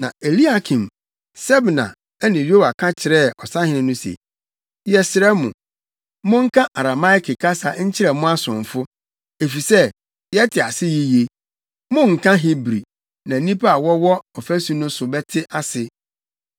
Na Eliakim, Sebna ne Yoa ka kyerɛɛ ɔsahene no se, “Yɛsrɛ mo, monka Arameike kasa nkyerɛ mo asomfo, efisɛ, yɛte ase yiye. Monnka Hebri + 36.11 Hebri kasa yɛɛ kasa a na wɔde di nkitaho saa bere no. Efi 5 AWK no, Hebri kasa bɛyɛɛ Yudafo kasa. na nnipa a wɔwɔ ɔfasu no so no bɛte ase.”